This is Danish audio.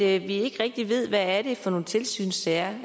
at vi ikke rigtig ved hvad det er for nogle tilsynssager